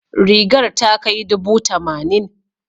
Rigar ta kai dubu tamanin.